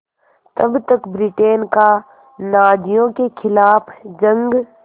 तब तक ब्रिटेन का नाज़ियों के ख़िलाफ़ जंग